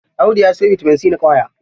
Audu ya sayo bitamin c na ƙwaya.